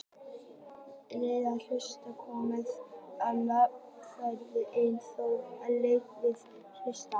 Þeir heilsuðu komumönnum nánast feimnislega en þó ekki lausir við tortryggni.